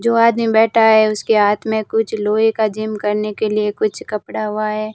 जो आदमी बैठा है उसके हाथ में कुछ लोहे का जिम करने के लिए कुछ कपड़ा हुआ है।